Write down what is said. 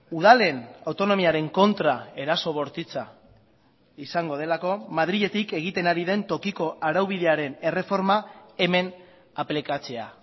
udalen autonomiaren kontra eraso bortitza izango delako madriletik egiten ari den tokiko araubidearen erreforma hemen aplikatzea